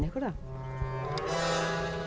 ykkur það